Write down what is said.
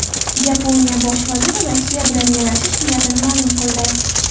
Yaponiya bosh vaziri Rossiya bilan yarashish niyatini ma’lum qildi.